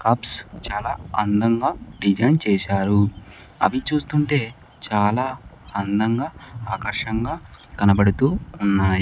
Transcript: Caps చాలా అందంగా design చేశారు అవి చూస్తుంటే చాలా అందంగా ఆకర్షంగా కనపడుతూ ఉన్నాయి.